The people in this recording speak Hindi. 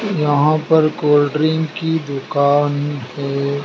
यहां पर कोल्ड ड्रिंक की दुकान है।